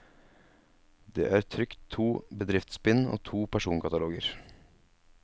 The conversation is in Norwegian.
Det er trykt to bedriftsbind og to personkataloger.